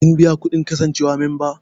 Kin biya kuɗin kasancewa memba?